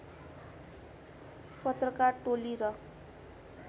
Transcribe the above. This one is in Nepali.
पत्रकार टोली र